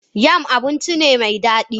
Yam abinci ne mai dadi.